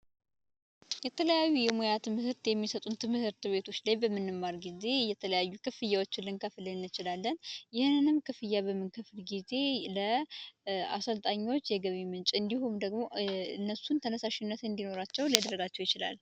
የተለያዩ የሙያ ትምህርት የሚሰጡን ትምህርት ቤቶች ላይ በምንማርበት ጊዜ ክፍያዎችን ልንከፍል እንችላለን። ይህንንም ክፍያ በምንከፍል ጊዜ ለአሰልጣኞች የገቢ ምንጭ አንዲሁም ደግሞ እነሱን ተነሳሽነት እንዲኖራቸው ያደርጋል።